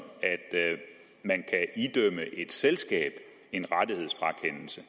at man idømme et selskab en rettighedsfrakendelse